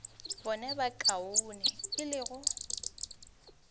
bone bokaone e le go